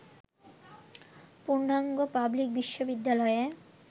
পূর্ণাঙ্গ পাবলিক বিশ্ববিদ্যালয়ে